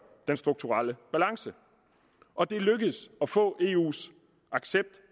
den strukturelle balance og det er lykkedes at få eus accept